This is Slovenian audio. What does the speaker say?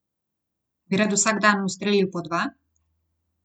Bi rad vsak dan ustrelil po dva?